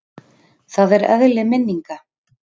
Það er eðli minninga.